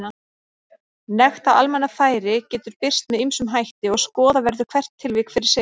Nekt á almannafæri getur birst með ýmsum hætti og skoða verður hvert tilvik fyrir sig.